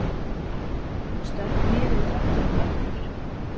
Stökk niður í tröppurnar aftur.